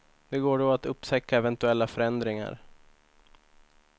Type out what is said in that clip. Det går då att upptäcka eventuella förändringar.